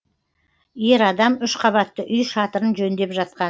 ер адам үш қабатты үй шатырын жөндеп жатқан